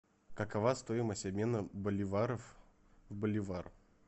какова стоимость обмена боливаров в боливар